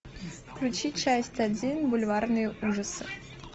включи часть один бульварные ужасы